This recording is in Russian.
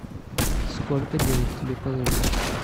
сколько денег тебе положить